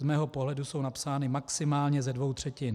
Z mého pohledu jsou napsány maximálně ze dvou třetin.